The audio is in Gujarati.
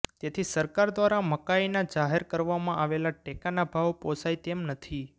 તેથી સરકાર દ્વારા મકાઈના જાહેર કરવામાં આવેલ ટેકાના ભાવ પોસાય તેમ નથી